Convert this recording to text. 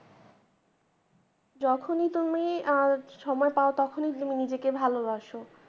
যখনি তুমি আঁ সময় পাও তখনি তুমি নিজেকে ভালোবাসো